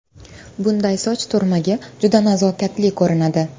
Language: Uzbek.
Bunday soch turmagi juda nazokatli ko‘rinadi!